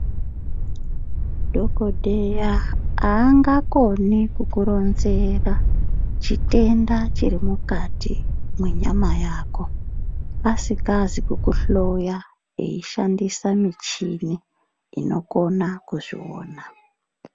Dhokodheya angakoni kukuronzera chitenda chiri mukati mwenyama yako asikazi kukunhloya eishandisa michini inokona kuzviona.